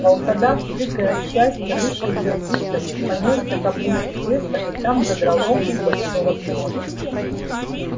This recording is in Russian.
волкодав прыгая от счастья выскочил из дому понёсся к опушке леса и там задрал ногу у большого клёна